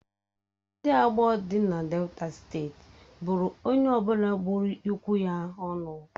Ndị Agbor dị na Delta steeti buru onye ọ bụla gburu ikwụ ya ọnụ.